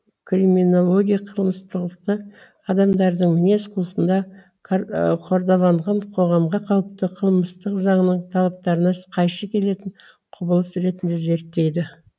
криминология қылмыстылықты адамдардың мінез құлқында қордаланған қоғамға қауіпті қылмыстық заңның талаптарына қайшы келетін құбылыс ретінде зерттейді